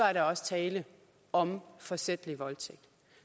er der også tale om forsætlig voldtægt